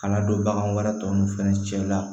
Kana don bagan wɛrɛ tɔ nun fɛnɛ cɛla